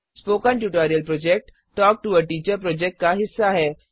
spoken tutorial project talk to a teacher project का हिस्सा है